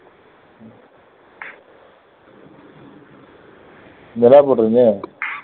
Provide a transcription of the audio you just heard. போட்ருங்க